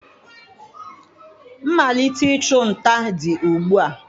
Mmalite ịchụ nta dị ugbu a